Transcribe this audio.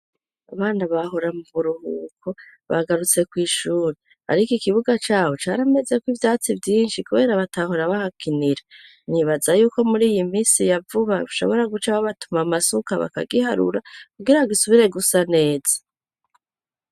Abana bahora mu buhuko bagarutse ku ishuri ariko ikibuga cyabo cari ameze ko ivyatsi vyinshi kubera batahora bahakinira nibaza yuko muri iyi minsi yavuba bashobora guca babatuma amasuka bakagiharura kugira gisubire gusa neza.